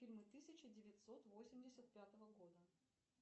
фильмы тысяча девятьсот восемьдесят пятого года